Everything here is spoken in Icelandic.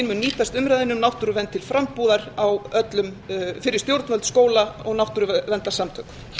hvítbókin mun nýtast umræðunni um náttúruvernd til frambúðar fyrir stjórnvöld skóla og náttúruverndarsamtök